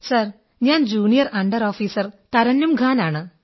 sir ഞാൻ junior under officer Tarannum Khan ആണ്